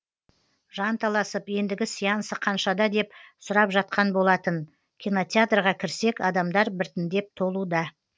жанталасып ендігі сеансы қаншада деп сұрап жатқан болатын кинотеатрға кірсек адамдар бірітіндеп толуда